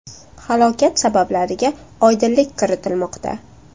Halokat sabablariga oydinlik kiritilmoqda.